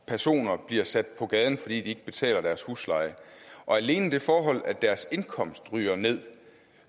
personer bliver sat på gaden fordi de ikke betaler deres husleje og alene det forhold at deres indkomst ryger ned